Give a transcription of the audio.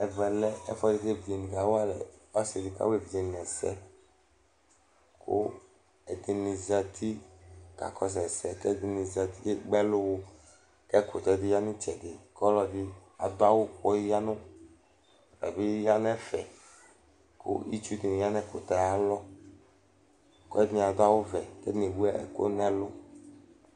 Ɛvɛ lɛ ɛfʋɛdɩ kʋ ɔsɩ di kawa evidze ni ɛsɛ Kʋ ɛdɩnɩ zǝti kakɔsʋ ɛsɛ, kʋ ɛdɩnɩ zǝti kʋ ekpe ɛlʋ wʋ Kʋ ɛkʋtɛ di ya nʋ ɩtsɛdɩ, kʋ ɔlɔdɩ adu awʋ, kʋ ɔta bɩ ya nʋ ɛfɛ Kʋ itsu di ya nʋ ayʋ alɔ, kʋ ɔlɔdɩnɩ adu awʋvɛ, kʋ edigbo ewu ɛkʋ nʋ ɛlʋ